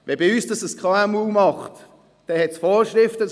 Wenn das bei uns ein KMU macht, dann gibt es Vorschriften.